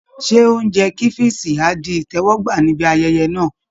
Ṣé oúnjẹ kẹ́fíìṣì á di ìtẹ́wọ́gbà níbí ayẹyẹ náà?